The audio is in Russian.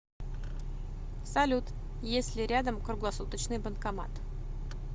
салют есть ли рядом круглосуточный банкомат